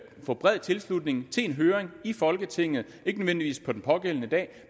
at få bred tilslutning til en høring i folketinget ikke nødvendigvis på den pågældende dag